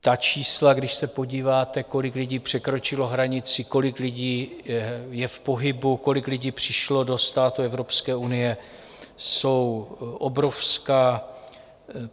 Ta čísla, když se podíváte, kolik lidí překročilo hranici, kolik lidí je v pohybu, kolik lidí přišlo do států Evropské unie, jsou obrovská.